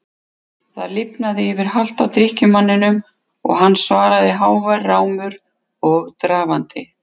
Það lifnaði yfir halta drykkjumanninum og hann svaraði hávær rámur og drafandi